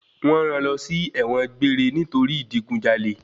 Wọ́n rán lọ sí ẹ̀wọ̀n gbéére nítorí ìdigunjalè.